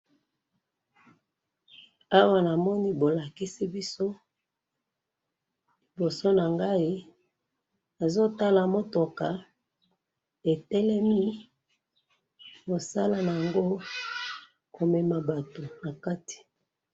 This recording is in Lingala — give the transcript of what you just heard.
awa namoni bolakisi biso libosonangayi nazotala motoka etelemi mosalanango komema batu nakati